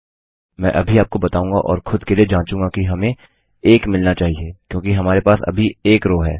मैं अभी आपको बताऊंगा और खुद के लिए जाँचूँगा कि हमें 1 मिलना चाहिए क्योंकि हमारे पास अभी 1 रो है